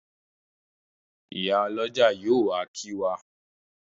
Ìyálọ́jà yóò wá kí wa.